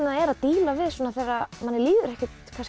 er að díla við þegar manni líður ekkert